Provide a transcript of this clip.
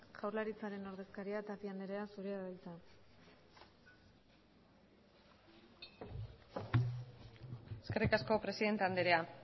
jaurlaritzaren ordezkaria tapia andrea zurea da hitza eskerrik asko presidente andrea